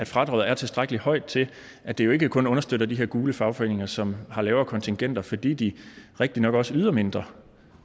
fradraget er tilstrækkelig højt til at det jo ikke kun understøtter de her gule fagforeninger som har lavere kontingenter fordi de rigtigt nok også yder mindre